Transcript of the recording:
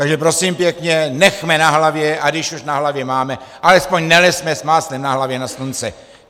Takže prosím pěkně, nechme na hlavě, a když už na hlavě máme, alespoň nelezme s máslem na hlavě na slunce.